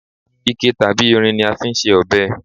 ike tabi irin ni a fi n se ọbẹ